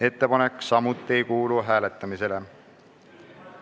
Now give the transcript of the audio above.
Ettepanek samuti ei kuulu hääletamisele.